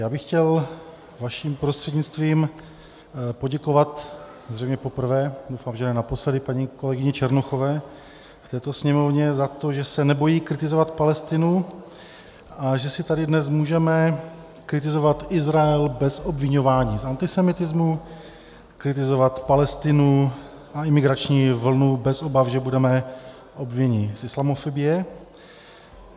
Já bych chtěl vaším prostřednictvím poděkovat zřejmě poprvé - doufám, že ne naposledy - paní kolegyni Černochové v této Sněmovně za to, že se nebojí kritizovat Palestinu a že si tady dnes můžeme kritizovat Izrael bez obviňování z antisemitismu, kritizovat Palestinu a imigrační vlnu bez obav, že budeme obviněni z islamofobie.